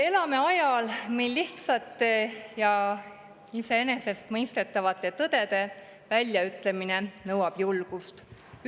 Me elame ajal, mil lihtsate ja iseenesestmõistetavate tõdede väljaütlemine nõuab julgust.